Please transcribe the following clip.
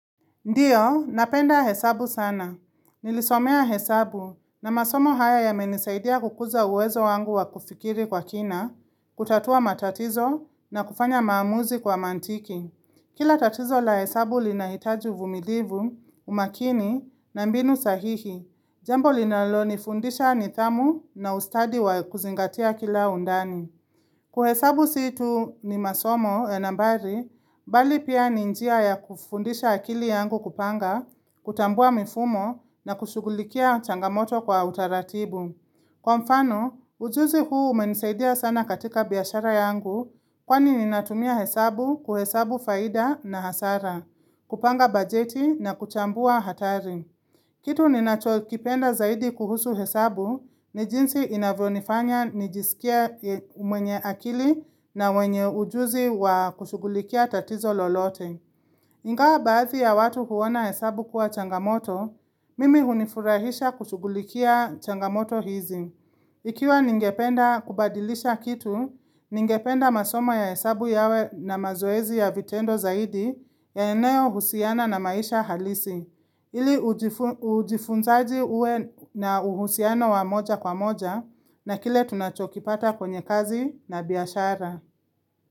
Ndiyo, napenda hesabu sana. Nilisomea hesabu na masomo haya ya menisaidia kukuza uwezo wangu wa kufikiri kwa kina, kutatua matatizo na kufanya maamuzi kwa mantiki. Kila tatizo la hesabu li nahitaji uvumilivu, umakini na mbinu sahihi. Jambo linalo ni fundisha ni thamu na ustadi wa kuzingatia kila undani. Kuhesabu situ ni masomo ya nambari, bali pia ni njia ya kufundisha akili yangu kupanga, kutambua mifumo na kushugulikia changamoto kwa utaratibu. Kwa mfano, ujuzi huu umenisaidia sana katika biyashara yangu kwani ninatumia hesabu kuhesabu faida na hasara, kupanga bajeti na kuchambua hatari. Kitu ni nacho kipenda zaidi kuhusu hesabu ni jinsi inavyo nifanya nijisikie mwenye akili na mwenye ujuzi wa kushugulikia tatizo lolote. Ingawa baathi ya watu huona hesabu kuwa changamoto, mimi hunifurahisha kushugulikia changamoto hizi. Ikiwa ningependa kubadilisha kitu, ningependa masoma ya hesabu yawe na mazoezi ya vitendo zaidi ya eneo husiana na maisha halisi. Ili ujifunzaji uwe na uhusiano wa moja kwa moja na kile tunachokipata kwenye kazi na biashara.